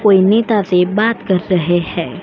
कोई नेता से बात कर रहे है।